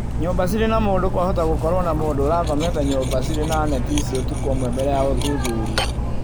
Nyũmba cirĩ na mũndũ kwahota gũkorũo na mũndũ ũrakomete nyũmba cirĩ na neti ici ũtukũ umwe mbele ya ũthuthuria